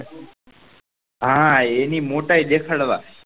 હા એની મોટાયી દેખાડવા